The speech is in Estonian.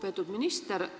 Lugupeetud minister!